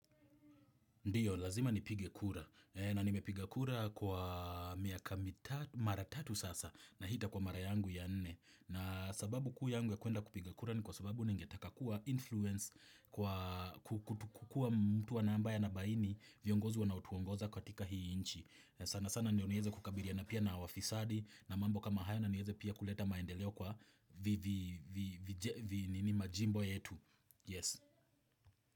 Ndio, lazima nipige kura. Na nimepiga kura kwa mara tatu sasa na hii itakuwa mara yangu ya nne. Na sababu kuu yangu ya kuenda kupiga kura ni kwa sababu ningetaka kuwa influence kwa kukua mtu ambaye anabaini viongozi wanaoutuongoza katika hii inchi. Sana sana ndio nieweze kukabiliana pia na wafisadi na mambo kama haya na niweze pia kuleta maendeleo kwa majimbo yetu.